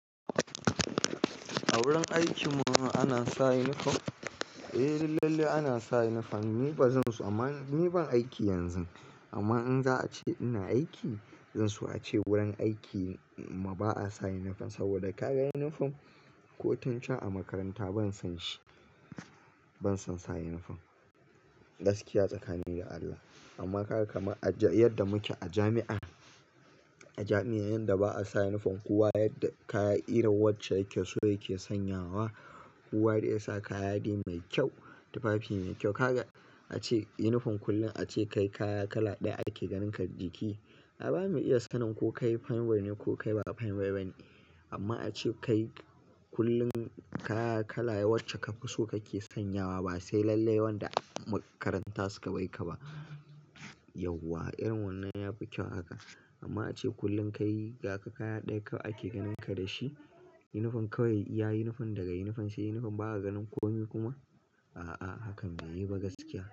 A wurin aiki mana ana sa yunifom? Eh lalle ana sa yunifom, ni ba zan so, amma ni ban aiki yanzu. Amma in za a ce ina aiki, zan so a ce wurin aiki ma ba a sa yunifom saboda kayan yunifom kotun can a makaranta ban san shi. Ban son sa yunifom, gaskiya tsaka ni da Allah. Amma ka ga kamar a yadda muke a jami'a, a jami'a yanda ba a sa yunifom kowa yadda kayi irin wacce yake so yake sanyawa, kowa zai sa kayayyaki mai kyau, tufafi mai kyau. Ka ga a ce yunifom kullum a ce kai kaya kala ɗaya ake ganinka jiki. A ba mu iya sanin ko kai fine boy ne ko kai ba fine boy bane. Amma a ce kai kullum kaya kala wacce ka fi so kake sanyawa ba sai lallai wanda makaranta su ka baika ba. Yauwa, irin wannan ya fi kyau haka. Amma a ce kullum ka yi kaya ɗaya kawai ake ganinka da shi, yunifom kawai, ya yi yunifom daga yunifom sai yunifom ba a ganin komai kuma, a'a hakan bai yi ba gaskiya.